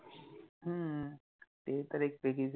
ह्म्म्म ते तर एक वेगळिच